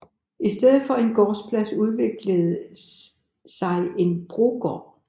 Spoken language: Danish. I stedet for en gårdsplads udviklede sig en brogård